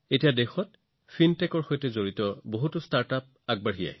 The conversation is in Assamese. এতিয়া দেশত ফিনটেকৰ সৈতে সম্পৰ্কিত বহুতো নতুন ষ্টাৰ্টআপো মুকলি হৈছে